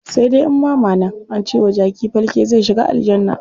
Sai dai in bama nan, ance wa jaki falke zai shiga aljanna.